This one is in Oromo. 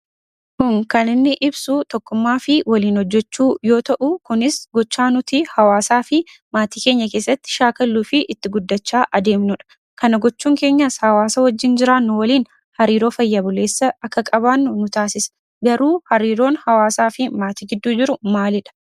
Suuraan kun kan inni ibsu tokkummaa fi waliin hojjechuu yoo ta'u gochaa nuti hawaasa fi maatii keenya keessatti shaakallu fi itti guddachaa adeemnuudha. Kana gochuun keenya hawaasa wajjin jiraachuu, wajjin hariiroo fayya buleessa akka qabaannu nu taasisa. Garuu hariiroon hawaasa fi maatii gidduu jiru maaliidha?